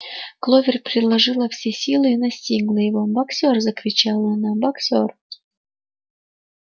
кловер приложила все силы и настигла его боксёр закричала она боксёр